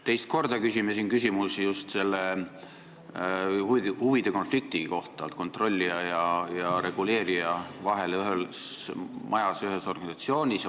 Teist korda küsime siin kontrollija ja reguleerija huvide konflikti kohta, kui nad asuvad ühes majas, ühes organisatsioonis.